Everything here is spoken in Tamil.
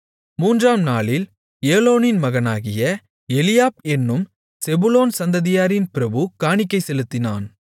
மூன்றாம் நாளில் ஏலோனின் மகனாகிய எலியாப் என்னும் செபுலோன் சந்ததியாரின் பிரபு காணிக்கை செலுத்தினான்